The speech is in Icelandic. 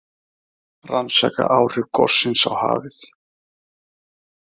Rannsaka áhrif gossins á hafið